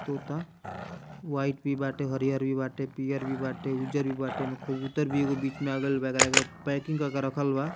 तोता व्हाइट भी बाटे हरियर भी बाटे पियर भी बाटे उजर भी बाटे कबूतर भी एगो बीच में आ गइल वगेरह पैकिंग कर के रखल बा।